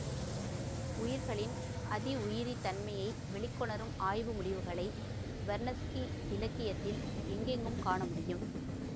உயிர்களின் அதி உயிரி தன்மையை வெளிக்கொணரும் ஆய்வு முடிவுகளை வெர்னத்ஸ்கி இலக்கியத்தில் எங்கெங்கும் காண முடியும்